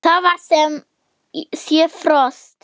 Það var sem sé frost.